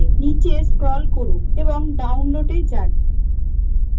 নীচে scroll করুন এবং download এ যান